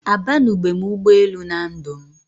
A banube m ụgbọ elù na ndụ m